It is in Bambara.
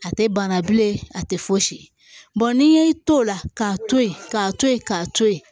A tɛ bana bilen a tɛ fosi bɔn n'i y'i to o la k'a to ye k'a to ye k'a to ye